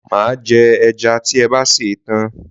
Máa jẹ ẹja tí ẹ bá sè é tán.